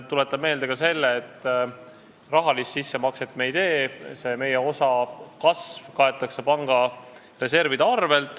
Tuletan meelde ka seda, et rahalist sissemakset me ei tee, meie osa kasv kaetakse panga reservide arvel.